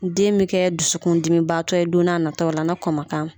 Den bɛ kɛ dusukun dimi baatɔ ye don n'a nataw la na kɔn man k'a ma.